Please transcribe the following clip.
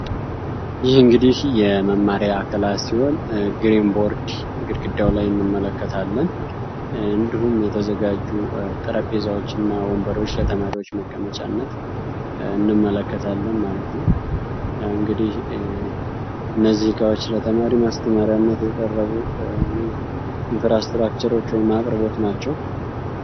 ይህ እንግዲህ የመማሪያ ክላስ ሲሆን ግሪን ቦርድ ግድግዳው ላይ እንመለከታለን። እንዲሁም የተዘጋጁ ጠረጴዛዎች እና ወንበሮች ለተማሪዎች መቀመጫነት እንመለከታለን ማለት ነው። እንግዲህ እነዚ እቃዎች ለተማሪ ማስተማሪያነት የቀረቡ ኢንፍራስትራክቸሮች ወይም አቅርቦቶች ናቸው።